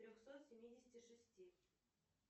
трехсот семидесяти шести